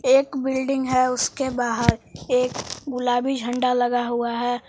एक बिल्डिंग है उसके बाहर एक गुलाबी झंडा लगा हुआ है।